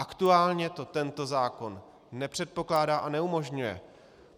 Aktuálně to tento zákon nepředpokládá a neumožňuje.